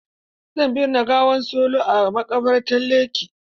Zan binne gawar Solo a maƙabartan Lekki.